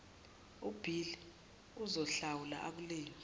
ubhili uzohlawula akulinde